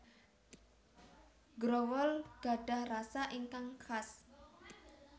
Growol gadhah rasa ingkang khas